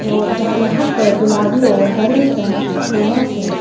जो जहां यहां प गुलाबी और हरे रंग के फूलों से--